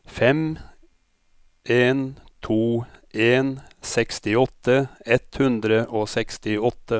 fem en to en sekstiåtte ett hundre og sekstiåtte